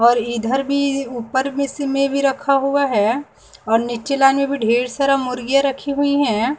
और इधर भी ऊपर भी सीमे भी रखा हुआ है और नीचे लाने भी ढेर सारा मुर्गीयाँ रखी हुई हैं।